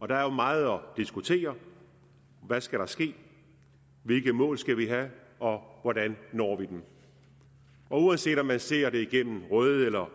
og der er jo meget at diskutere hvad skal der ske hvilke mål skal vi have og hvordan når vi dem uanset om man ser det igennem røde eller